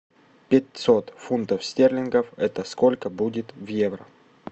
пятьсот фунтов стерлингов это сколько будет в евро